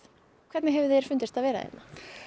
hvernig hefur þér fundist að vera hérna